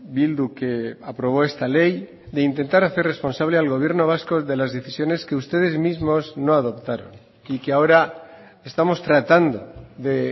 bildu que aprobó esta ley de intentar hacer responsable al gobierno vasco de las decisiones que ustedes mismos no adoptaron y que ahora estamos tratando de